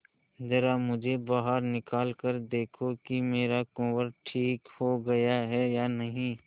जरा मुझे बाहर निकाल कर देखो कि मेरा कुंवर ठीक हो गया है या नहीं